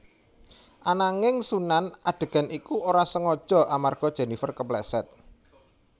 Ananging Sunan adegan iku ora sengaja amarga Jenifer kepleset